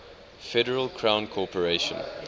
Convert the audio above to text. federal crown corporation